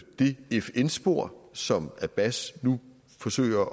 det fn spor som abbas nu forsøger at